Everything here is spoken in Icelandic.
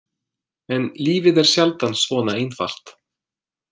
En lífið er sjaldan svona einfalt.